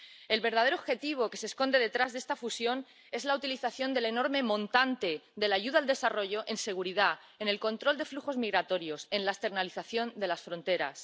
El verdadero objetivo que se esconde detrás de esta fusión es la utilización del enorme montante de la ayuda al desarrollo en seguridad, en el control de flujos migratorios, en la externalización de las fronteras.